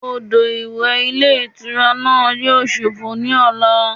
Odò ìwẹ̀ ilé ìtura náà yíò sófo ní ọ̀la